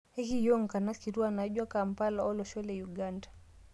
Ekiyiu nkanas kituak naijo Kampala to losho le Uganda